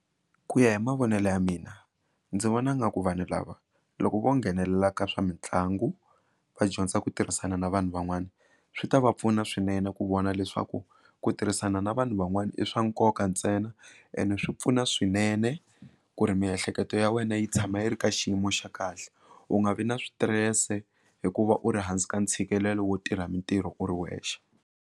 Ku ya hi mavonelo ya mina ndzi vona nga ku vanhu lava loko vo nghenelela ka swa mitlangu va dyondza ku tirhisana na vanhu van'wana swi ta va pfuna swinene ku vona leswaku ku tirhisana na vanhu van'wana i swa nkoka ntsena ene swi pfuna swinene ku ri miehleketo ya wena yi tshama yi ri ka xiyimo xa kahle u nga vi na switirese hikuva u ri hansi ka ntshikelelo wo tirha mitirho u ri wexe.